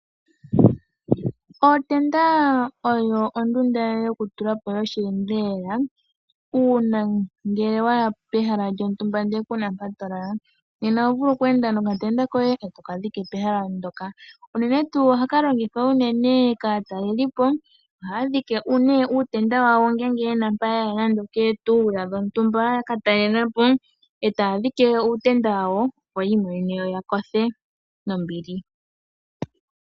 Ootenda oyo ondunda yokutulapo yosheendelela uuna ngele waya pehala lyontumba ndele kuna mpa to lala. Nena oho vulu oku enda nokatenda koye e toka dhike pehala ndyoka uunene tuu ohaka longithwa uunene kaatalelipo, ohaya dhike nee uutenda wawo ngeenge yena mpa ya ya nade okeetuula dhontumba yaka talelapo e taa dhike uutenda wawo opo yi imonene yo yakothe nombili.